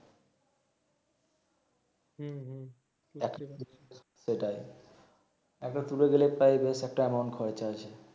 সেটাই একো তুলে দিলে পায়ে যাস একটা এমাউন্ট খরচা আসে